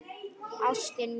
Ástin mín.